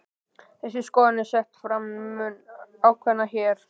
Þessi skoðun er sett fram mun ákveðnar hér.